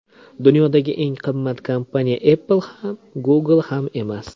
Dunyodagi eng qimmat kompaniya Apple ham, Google ham emas.